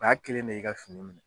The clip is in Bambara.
O y'a kelen ne i ka fini